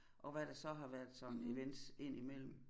Og hvad der så har været sådan events ind imellem